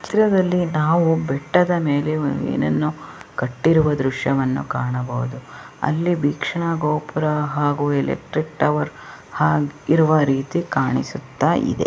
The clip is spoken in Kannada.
ಚಿತ್ರದಲ್ಲಿ ನಾವು ಬೆಟ್ಟದ ಮೇಲೆ ಒಂದು ಏನನ್ನೋ ಕಟ್ಟಿರುವ ದೃಶ್ಯವನ್ನ ಕಾಣಬವುದು ಅಲ್ಲಿ ಬಿಕ್ಷಾ ಗೋಪುರ ಹಾಗೂ ಎಲೆಕ್ಟ್ರಿಕ್ ಟವರ್ ಹಾ ಇರುವ ರೀತಿ ಕಾಣುಸ್ತಾ ಇದೆ.